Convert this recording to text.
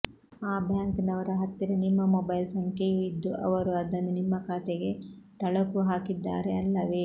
ಆ ಬ್ಯಾಂಕ್ ನವರ ಹತ್ತಿರ ನಿಮ್ಮ ಮೊಬೈಲ್ ಸಂಖ್ಯೆಯೂ ಇದ್ದು ಅವರು ಅದನ್ನು ನಿಮ್ಮ ಖಾತೆಗೆ ತಳುಕು ಹಾಕಿದ್ದಾರೆ ಅಲ್ಲವೇ